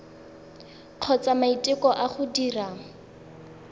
kgotsa maiteko a go dira